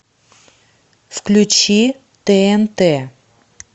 включи тнт